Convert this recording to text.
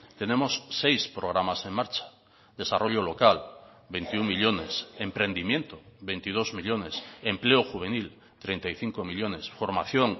tenemos seis programas en marcha desarrollo local veintiuno millónes emprendimiento veintidós millónes empleo juvenil treinta y cinco millónes formación